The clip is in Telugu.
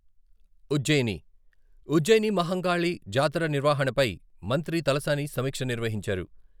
ఉజ్జయిని ఉజ్జయిని మహంకాళి జాతర నిర్వహణపై మంత్రి తలసాని సమీక్ష నిర్వహించారు.